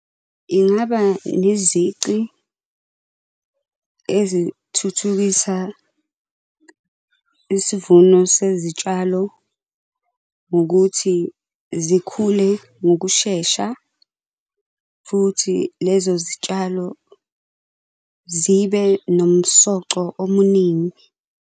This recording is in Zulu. Ingaba nezici ezithuthukisa isivuno sezitshalo ngokuthi zikhule ngokushesha, futhi lezo zitshalo zibe nomsoco omuningi.